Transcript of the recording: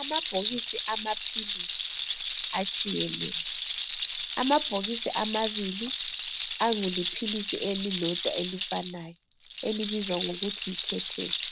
Amabhokisi amaphilisi atshiyeneyo amabhokisi amabili aliphilisi elilodwa elifanayo elibizwa ngokuthi yi ketesse